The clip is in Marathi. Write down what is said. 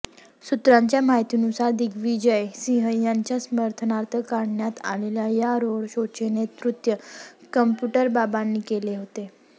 सूत्रांच्या माहितीनुसार दिग्विजय सिंह यांच्या समर्थनार्थ काढण्यात आलेल्या या रोड शोचे नेतृत्व कॉम्प्युटरबाबांनी केले होते